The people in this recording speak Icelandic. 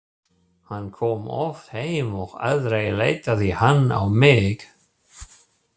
Hann kom oft heim og aldrei leitaði hann á mig.